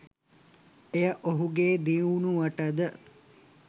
එය ඔහුගේ දියුණුවටද